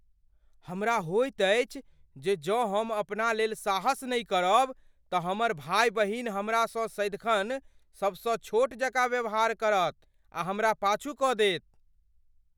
हमरा होइत अछि जे जँ हम अपना लेल साहस नहि करब, तँ हमर भाय बहिन हमरासँ सदिखन सबसँ छोट जकाँ व्यवहार करत आ हमरा पाछू कऽ देत।